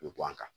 U bɛ bɔ an kan